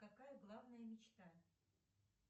какая главная мечта